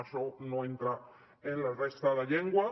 això no entra en la resta de llengües